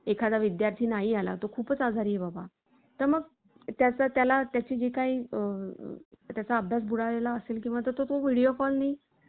Chat GPT म्हणजे भविष्यातलं Google असं म्हटलं जात. आजवर या chatBOT ची प्रगती पाहता ते अशक्य आहे,